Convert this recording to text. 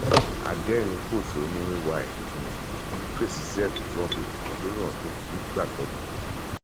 adẹrìnínpọṣónú ay um fèsì sí ẹsùn tí wọn fi kàn án lórí ọnà tí ó ń um gbà tọmọ